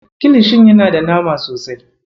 Kilishin yana da nama sosai.